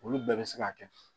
Olu bɛɛ bɛ se ka kɛ